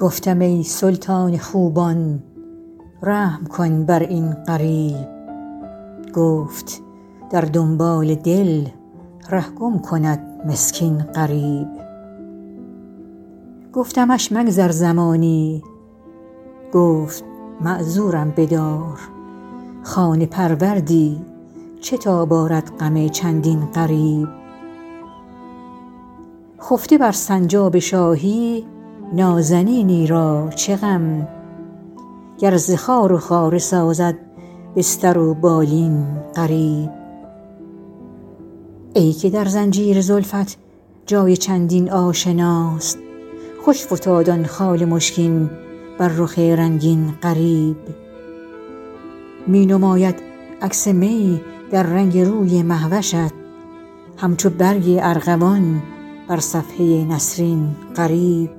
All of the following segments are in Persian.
گفتم ای سلطان خوبان رحم کن بر این غریب گفت در دنبال دل ره گم کند مسکین غریب گفتمش مگذر زمانی گفت معذورم بدار خانه پروردی چه تاب آرد غم چندین غریب خفته بر سنجاب شاهی نازنینی را چه غم گر ز خار و خاره سازد بستر و بالین غریب ای که در زنجیر زلفت جای چندین آشناست خوش فتاد آن خال مشکین بر رخ رنگین غریب می نماید عکس می در رنگ روی مه وشت همچو برگ ارغوان بر صفحه نسرین غریب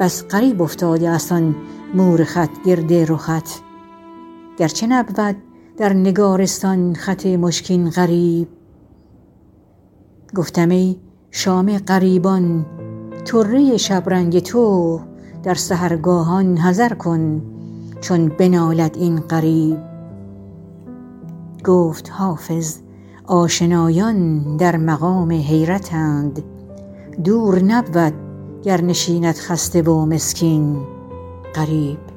بس غریب افتاده است آن مور خط گرد رخت گرچه نبود در نگارستان خط مشکین غریب گفتم ای شام غریبان طره شبرنگ تو در سحرگاهان حذر کن چون بنالد این غریب گفت حافظ آشنایان در مقام حیرتند دور نبود گر نشیند خسته و مسکین غریب